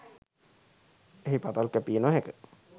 එහි පතල් කැපිය නොහැක.